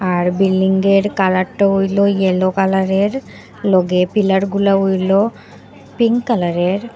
আর building -এর colour -টা হইলো গিয়ে ইয়োলো কালার -এর লগে পিলার -গুলা হইলো পিঙ্ক কালার -এর।